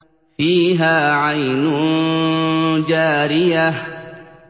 فِيهَا عَيْنٌ جَارِيَةٌ